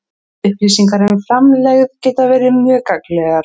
Upplýsingar um framlegð geta verið mjög gagnlegar.